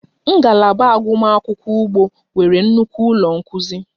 Ngalaba agụmakwụkwọ ugbo nwere nnukwu ụlọ nkuzi